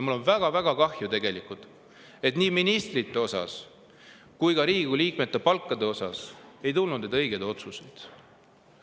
Mul on väga-väga kahju, et nii ministrite palkade osas kui ka Riigikogu liikmete palkade osas ei tulnud neid õigeid otsuseid.